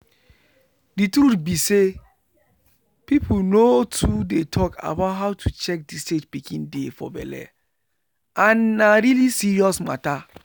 the truth be say people nor too dey talk about how to check the stage pikin dey for belle and na really serious matter.